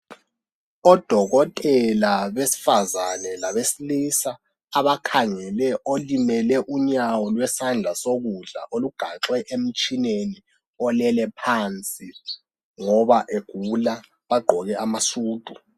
Odokotela besifazane labesilisa abakhangele olimele unyawo lwesandla sokudla olugaxwe emtshineni olele phansi ngoba egula, bagqoke amasudu.